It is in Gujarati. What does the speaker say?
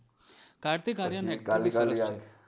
કાર્તિક આર્યન હે કાલી કાલી eyes